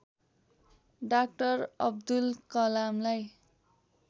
doctor Abdul कलामलाई